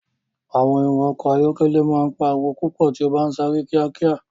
Awọn ẹrọ ọkọ ayọkẹlẹ ma n pariwo pupọ ti o ba n sare kiakia.